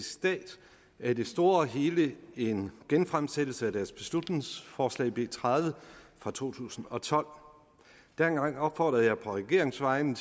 stat er i det store og hele en genfremsættelse af deres beslutningsforslag nummer b tredive fra to tusind og tolv dengang opfordrede jeg på regeringens vegne